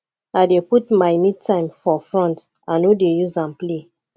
i dey put my metime for front i no dey use am play